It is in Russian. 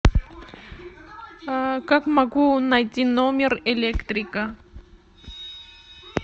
как могу найти номер электрика